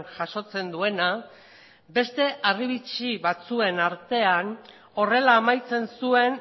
jasotzen duena beste harribitxi batzuen artean horrela amaitzen zuen